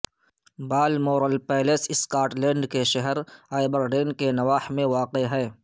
Balmoral palace Scotland کے شہر Aberdeen کے نواح میں واقع ہے